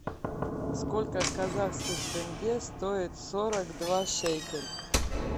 сколько казахских тенге стоит сорок два шекель